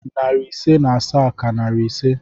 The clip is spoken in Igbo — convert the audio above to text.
Narị ise na asaa ka narị ise